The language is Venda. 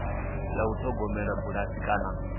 ya u ṱhogomela bulasi kana